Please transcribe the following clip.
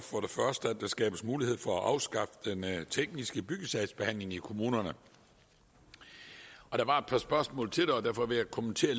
at der skabes mulighed for at afskaffe den tekniske byggesagsbehandling i kommunerne der var et par spørgsmål til det og derfor vil jeg kommentere